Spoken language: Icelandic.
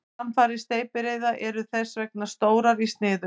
Samfarir steypireyða eru þess vegna stórar í sniðum.